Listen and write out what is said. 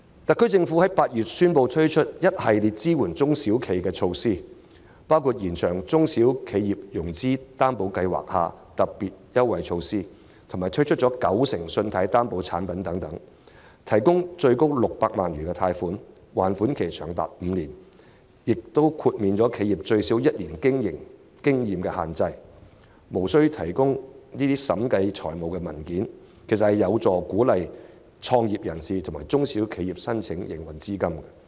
特區政府在8月宣布推出一系列支援中小企的措施，包括延長中小企融資擔保計劃下特別優惠措施的償還本金期，以及推出九成信貸擔保產品，提供最高600萬元貸款，還款期長達5年，並豁免企業最少具1年營運經驗的要求，亦無須提供經審計的財務文件，實有助鼓勵創業人士及中小企申請，以取得營運資金。